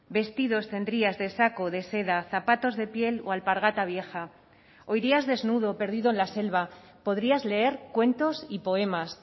vestidos tendrías de saco de seda zapatos de piel o alpargata vieja o irías desnudo perdido en la selva podrías leer cuentos y poemas